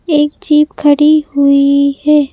एक जीप खड़ी हुई है।